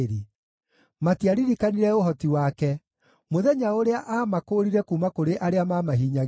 Matiaririkanire ũhoti wake: mũthenya ũrĩa aamakũũrire kuuma kũrĩ arĩa maamahinyagĩrĩria,